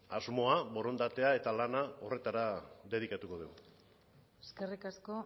asmoa borondatea eta lana horretara dedikatuko dugu eskerrik asko